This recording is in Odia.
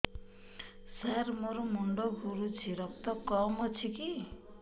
ସାର ମୋର ମୁଣ୍ଡ ଘୁରୁଛି ରକ୍ତ କମ ଅଛି କି